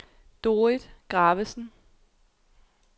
Dorrit Gravesen